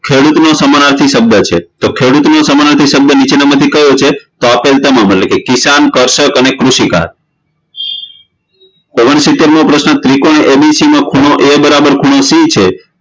ખેડૂતનો સમાનાર્થી શબ્દ છે તો ખેડૂતોનો સમાનાર્થી શબ્દ કયો છે તો આપેલ તમામ કિશાન કર્ષક અને કૃષિકા ઓગણસિતેરમો પ્રશ્ન ત્રિકોણ ABC માં ખુણ A બરાબર ખુણો C છે